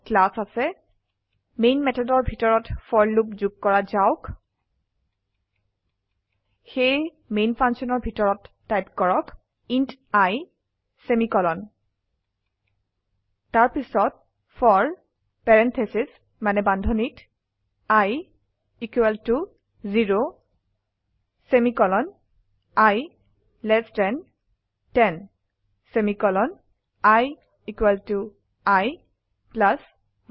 নামৰ ক্লাছ আছে মেইন methodৰ ভিতৰত ফৰ লুপ যোগ কৰা যাওক সেয়ে মেইন functionৰ ভিতৰত টাইপ কৰক ইণ্ট i ছেমিকলন তাৰ পিছত ফৰ বানদ্ধনীত i equal to 0 semicolon i less than 10 semicolon i equal to i plus 1